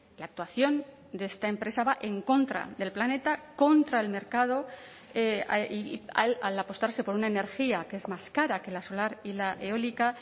la actuación de esta empresa va en contra del planeta contra el mercado al apostarse por una energía que es más cara que la solar y la eólica